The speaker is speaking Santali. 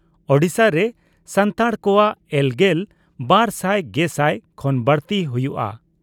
ᱳᱰᱤᱥᱟ ᱨᱮ ᱥᱟᱱᱛᱟᱲ ᱠᱚᱣᱟᱜ ᱮᱞ ᱜᱮᱞ ᱵᱟᱨ ᱥᱟᱭ ᱜᱮᱥᱟᱭ ᱠᱷᱚᱱ ᱵᱟᱹᱲᱛᱤ ᱦᱩᱭᱩᱜᱼᱟ ᱾